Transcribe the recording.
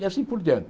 E assim por diante.